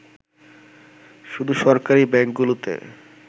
শুধু সরকারি ব্যাংকগুলোতে